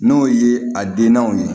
N'o ye a dennaw ye